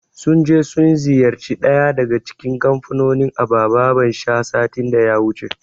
Sun je sun ziyarci ɗaya daga cikin kamfanonin abababan sha, satin da ya wuce.